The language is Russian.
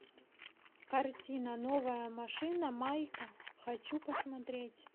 картина новая машина майка хочу посмотреть